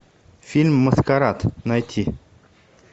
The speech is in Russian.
фильм маскарад найти